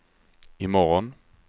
imorgon